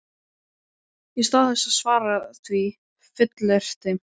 Í stað þess að svara því fullyrti